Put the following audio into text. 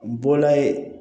N bɔla yen